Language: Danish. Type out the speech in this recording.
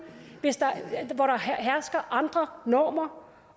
hvor der hersker andre normer